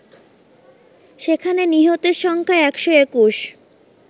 সেখানে নিহতের সংখ্যা ১২১